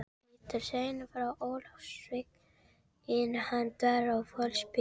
Péturssyni frá Ólafsvík en hann var holdsveikur.